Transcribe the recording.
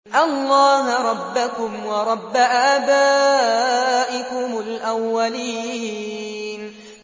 اللَّهَ رَبَّكُمْ وَرَبَّ آبَائِكُمُ الْأَوَّلِينَ